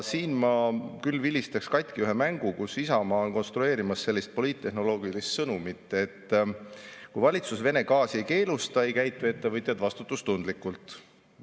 Siin ma küll vilistaks katki ühe mängu, kus Isamaa konstrueerib sellist poliittehnoloogilist sõnumit, et kui valitsus Vene gaasi ei keelusta, siis ei käitu ettevõtjad vastutustundlikult.